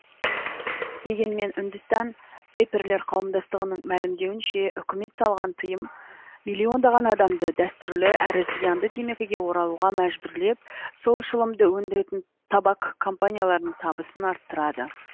дегенмен үндістан вейперлер қауымдастығының мәлімдеуінше үкімет салған тыйым миллиондаған адамды дәстүрлі әрі зиянды темекіге оралуға мәжбүрлеп сол шылымды өндіретін табак компанияларының табысын арттырады